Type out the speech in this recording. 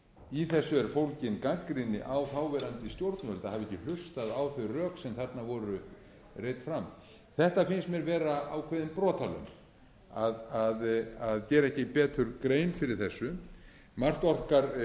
í þessu er fólgin gagnrýni á þáverandi stjórnvöld að hafa ekki hlustað á þau rök sem þarna voru reidd fram þetta finnst mér vera ákveðin brotalöm að gera ekki betur grein fyrir þessu